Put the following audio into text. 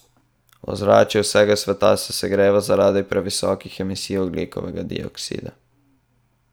Ozračje vsega sveta se segreva zaradi previsokih emisij ogljikovega dioksida?